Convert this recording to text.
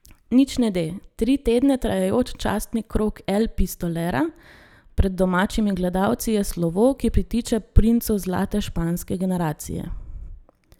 Nič ne de, tri tedne trajajoč častni krog El Pistolera pred domačimi gledalci je slovo, ki pritiče princu zlate španske generacije.